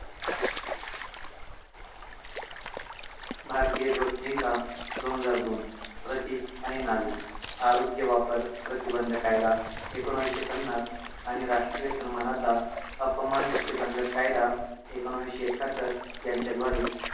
भारतीय ध्वज संहिता दोन हजार दोन प्रतीक आणि नावे आरोग्य वापर प्रतिबंध कायदा एकोणविशे पन्नास आणि राष्ट्रीय सन्मानाचा अपमान प्रतिबंध कायदा एकोणाविशे एकाहत्तर यांच्या द्वारे